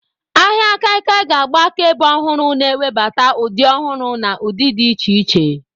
Ahịa kaikia ga-agba akaebe ọhụrụ, na-ewebata ụdị ọhụrụ na ụdị dị iche iche.